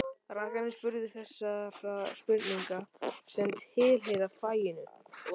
Rakarinn spurði þessara spurninga sem tilheyra faginu: